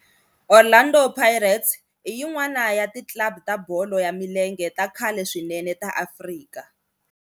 Orlando Pirates i yin'wana ya ti club ta bolo ya milenge ta khale swinene ta Afrika.